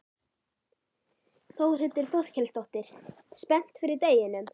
Þórhildur Þorkelsdóttir: Spennt fyrir deginum?